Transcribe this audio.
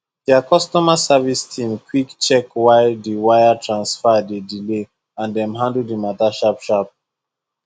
their customer service team quick check why the wire transfer delay and dem handle the matter sharpsharp